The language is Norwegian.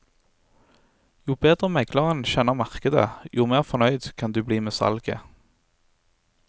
Jo bedre megleren kjenner markedet, jo mer fornøyd kan du bli med salget.